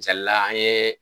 Misalila an ye